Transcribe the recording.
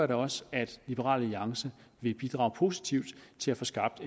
da også at liberal alliance vil bidrage positivt til at få skabt